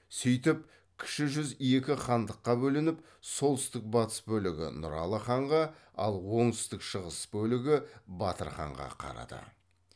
сөйтіп кіші жүз екі хандыққа бөлініп солтүстік батыс бөлігі нұралы ханға ал оңтүстік шығыс бөлігі батыр ханға қарады